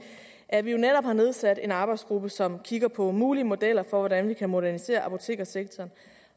at vi jo netop har nedsat en arbejdsgruppe som kigger på mulige modeller for hvordan vi kan modernisere apotekersektoren